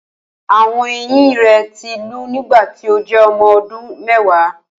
Awọn eyin rẹ ti lu nigbati o jẹ ọmọ ọdun mẹwa